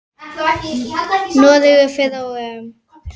Noregur fer á EM.